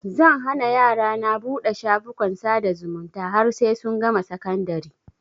Zan hana yarana buɗe shafukan sada zumunta har sai sun gama sakandari